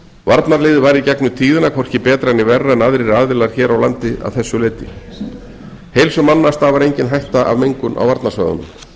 varnarliðið var í gegnum tíðina hvorki betra né verra en aðrir aðilar hér á landi að þessu leyti heilsu manna stafar engin hætta af mengun á varnarsvæðunum